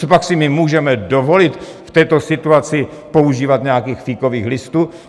Copak si my můžeme dovolit v této situaci používat nějakých fíkových listů?